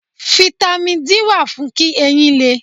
Fítámì D wà fún kí eyín lé.